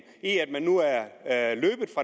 at den